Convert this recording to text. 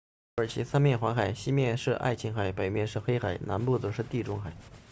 土耳其三面环海西面是爱琴海北面是黑海南面则是地中海